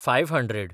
five hundred